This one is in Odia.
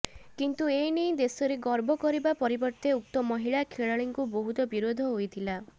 କିନ୍ତୁ ଏନେଇ ଦେଶରେ ଗର୍ବ କରିବା ପରିବର୍ତ୍ତେ ଉକ୍ତ ମହିଳା ଖେଳାଳିଙ୍କୁ ବହୁତ ବିରୋଧ ହୋଇଥିଲା